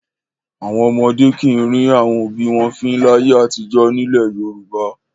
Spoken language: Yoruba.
Àwọn ọmọdé kì í rín àwọn òbí wọn fín láyé àtijọ́ nílẹ̀ Yorùbá.